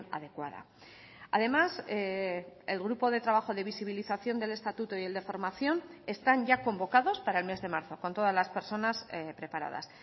adecuada además el grupo de trabajo de visibilización del estatuto y el de formación están ya convocados para el mes de marzo con todas las personas preparadas